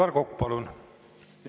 Aivar Kokk, palun!